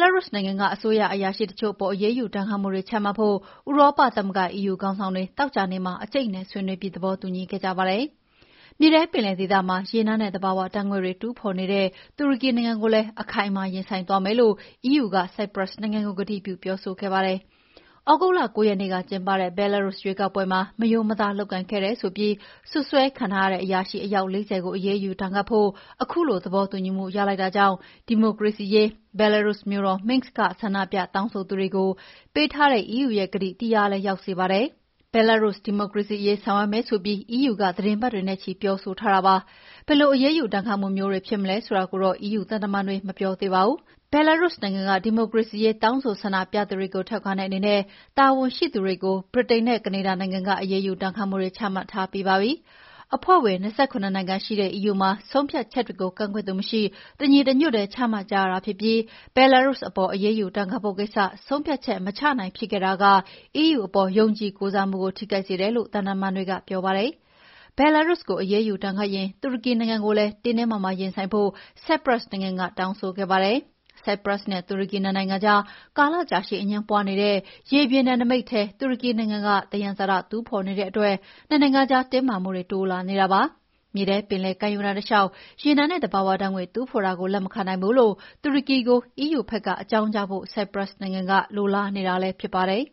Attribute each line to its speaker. Speaker 1: လာရုစ်နိုင်ငံက အစိုးရအရာရှိ တချို့အပေါ် အရေးယူဒဏ်ခတ်မှုတွေ ချမှတ်ဖို့ ဥရောပသမဂ္ဂ EU ခေါင်းဆောင်တွေ သောကြာနေ့မှာ အကြိတ်အနယ်ဆွေးနွေးပြီး သဘောတူညီခဲ့ကြပါတယ်။ မြေထဲပင်လယ်ဒေသမှာ ရေနံနဲ့ သဘာဝဓာတ်ငွေ့တွေ တူးဖော်နေတဲ့ တူရကီနိုင်ငံကိုလည်း အခိုင်အမာ ရင်ဆိုင်သွားမယ်လို့ EU က ဆိုက်ပရပ်စ်နိုင်ငံကို ကတိပြုပြောဆိုခဲ့ပါတယ်။ သြဂုတ်လ ၉ ရက်နေ့ကကျင်းပတဲ့ ဘဲလာရုစ်ရွေးကောက်ပွဲမှာ မရိုးမသားလုပ်ကိုင်ခဲ့တယ်ဆိုပြီး စွပ်စွဲခံထားရတဲ့ အရာရှိအယောက် ၄၀ ကိုအရေးယူဒဏ်ခတ်ဖို့ ခုလိုသဘောတူညီမှုရလိုက်တာကြောင့် ဒီမိုကရေစီအရေး ဘဲလာရုစ်မြို့တော် Minsk က ဆန္ဒပြတောင်းဆိုသူတွေကို ပေးထားတဲ့ EU ရဲ့ ကတိ တည်ရာလည်းရောက်စေပါတယ်။ ဘဲလာရုစ် ဒီမိုကရေစီအရေး ဆောင်ရွက်မယ်ဆိုပြီး EU က သီတင်းပတ်တွေနဲ့ချီပြောဆိုထားတာပါ။ ဘယ်လိုအရေးယူဒဏ်ခတ်မှုမျိုးတွေဖြစ်မလဲဆိုတာကိုတော့ EU သံတမန်တွေကမပြောသေးပါဘူး။ ဘဲလာရုစ်နိုင်ငံက ဒီမိုကရေစီရေး တောင်းဆိုဆန္ဒပြသူတွေကိုထောက်ခံတဲ့အနေနဲ့ တာဝန်ရှိသူတွေကို ဗြိတိန်နဲ့ ကနေဒါနိုင်ငံက အရေးယူဒဏ်ခတ်မှုတွေချမှတ်ထားပြီးပါပြီ။ အဖွဲ့ဝင် ၂၇ နိုင်ငံရှိတဲ့ EU မှာ ဆုံးဖြတ်ချက်တွေကို ကန့်ကွက်သူမရှိ တညီတညွတ်ထဲ ချမှတ်ကြရတာဖြစ်ပြီး ဘဲလာရုစ်အပေါ် အရေးယူ ဒဏ်ခတ်ဖို့ကိစ္စ ဆုံးဖြတ်ချက်မချနိုင်ဖြစ်ခဲ့တာက EU အပေါ် ယုံကြည်ကိုးစားမှုကို ထိခိုက်စေတယ်လို့ သံတမန်တွေကပြောပါတယ်။ ဘဲလာရုစ်ကို အရေးယူဒဏ်ခတ်ရင် တူရကီနိုင်ငံကိုလည်း တင်းတင်းမာမာ ရင်ဆိုင်ဖို့ ဆိုက်ပရပ်စ်နိုင်ငံ ကတောင်းဆိုခဲ့ပါတယ်။ ဆိုက်ပရပ်စ်နဲ့ တူရကီနှစ်နိုင်ငံကြား ကာလကြာရှည်အငြင်းပွါးနေတဲ့ ရေပြင်နယ်နိမိတ်ထဲ တူရကီနိုင်ငံက သယံဇာတ တူးဖော်နေတဲ့အတွက်နှစ်နိုင်ငံကြား တင်းမာမှုတွေ တိုးလာနေတာဖြစ်ပါတယ်။ မြေထဲပင်လယ်ကမ်းရိုးတန်းတလေ ျှာက် ရေနံနဲ့ သဘာဝဓာတ်ငွေ့တူးဖော်တာကို လက်မခံနိုင်ဘူးလို့ တူရကီကို EU ဘက်က အကြောင်ကြားဖို့ ဆိုက်ပရပ်စ်နိုင်ငံက လိုလားနေတာလည်းဖြစ်ပါတယ်